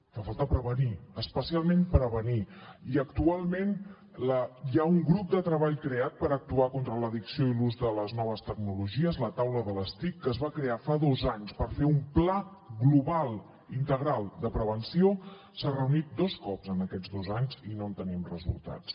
fa falta prevenir especialment prevenir i actualment hi ha un grup de treball creat per actuar contra l’addicció a l’ús de les noves tecnologies la taula de les tic que es va crear fa dos anys per fer un pla global integral de prevenció s’ha reunit dos cops en aquests dos anys i no en tenim resultats